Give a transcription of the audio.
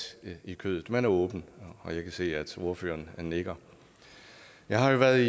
i kødet man er åben og jeg kan se at ordføreren nikker jeg har været